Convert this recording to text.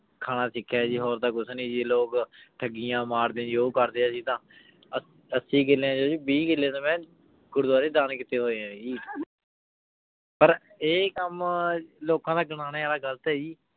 ਖਾਨਾ ਸਿਖਯ ਆਯ ਜੀ ਹੋਰ ਤਾਂ ਕੁਛ ਨਾਈ ਜੀ ਲੋਗ ਥਿਯਾਂ ਮਾਰਦੇ ਆਯ ਜੀ ਊ ਕਰਦੇ ਜੀਆ ਅਸੀਂ ਤਾਂ ਅਸੀਂ ਕਿਲੇ ਚੋਣ ਜੀ ਬੀ ਕਿਲੇ ਤਾਂ ਮੈਂ ਗੁਰ੍ਦ੍ਵਾਰੀ ਦਾਨ ਕਿਤੇ ਹੋਆਯ ਆ ਜੀ ਪਰ ਆਯ ਕਾਮ ਲੋਕਾਂ ਦਾ ਗਿਨਾਨੀ ਵਾਲਾ ਗਲਤ ਆਯ ਜੀ